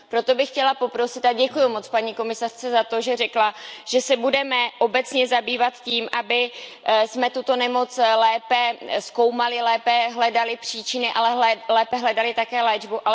Proto bych chtěla poprosit a děkuji moc paní komisařce za to, že řekla, že se budeme obecně zabývat tím, abychom tuto nemoc lépe zkoumali, lépe hledali příčiny, ale lépe hledali také léčbu.